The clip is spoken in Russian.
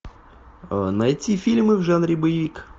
найти фильмы в жанре боевик